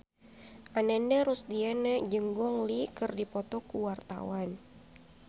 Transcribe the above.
Ananda Rusdiana jeung Gong Li keur dipoto ku wartawan